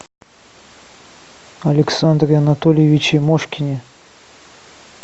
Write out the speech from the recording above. александре анатольевиче мошкине